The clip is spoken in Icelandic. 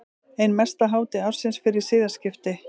Ein mesta hátíð ársins fyrir siðaskipti.